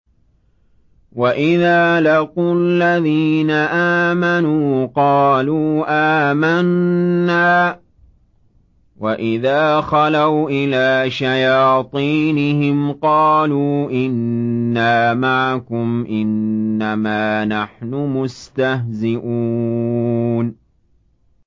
وَإِذَا لَقُوا الَّذِينَ آمَنُوا قَالُوا آمَنَّا وَإِذَا خَلَوْا إِلَىٰ شَيَاطِينِهِمْ قَالُوا إِنَّا مَعَكُمْ إِنَّمَا نَحْنُ مُسْتَهْزِئُونَ